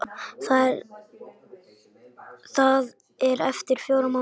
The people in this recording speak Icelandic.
Það er eftir fjóra mánuði.